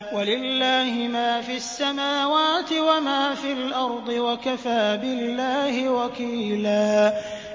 وَلِلَّهِ مَا فِي السَّمَاوَاتِ وَمَا فِي الْأَرْضِ ۚ وَكَفَىٰ بِاللَّهِ وَكِيلًا